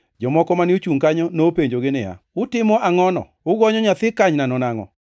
jomoko mane ochungʼ kanyo nopenjogi niya, “Utimo angʼono, ugonyo nyathi kanynano nangʼo?”